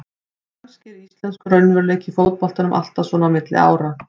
Kannski er íslenskur raunveruleiki í fótboltanum alltaf svona á milli ára.